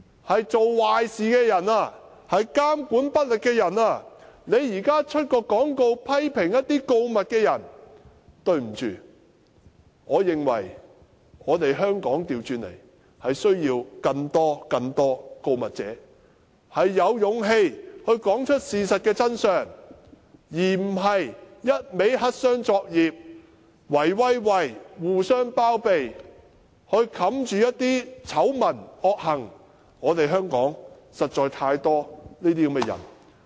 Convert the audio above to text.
是做壞事、監管不力的人，現時卻刊登廣告批評告密的人，對不起，我認為香港反過來是需要更多告密者，有勇氣說出事實的真相，而不是只會黑箱作業，"圍威喂"，互相包庇來掩飾醜聞、惡行，香港實在有太多這些人。